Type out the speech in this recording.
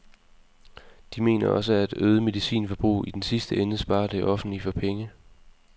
De mener også, at øget medicinforbrug i den sidste ende sparer det offentlige for penge.